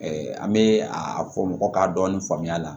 an bɛ a fɔ mɔgɔ k'a dɔɔnin faamuya